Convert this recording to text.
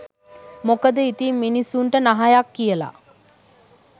මොකද ඉතින් මිනිස්සුන්ට නහයක් කියල